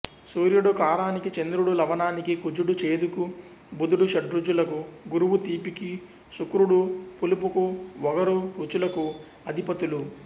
సూర్యుడు కారానికి చంద్రుడు లవణానికి కుజుడు చేదుకు బుధుడు షడ్రుచులకు గురువు తీపికి శుక్రుడు పులుపుకు వగరు రుచులకు అధిపతులు